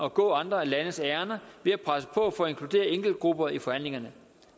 at gå andre landes ærinder ved at presse på for at inkludere enkeltgrupper i forhandlingerne